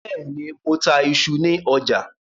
Bẹ́ẹ̀ ní, mo ta iṣu ní ọ̀jà.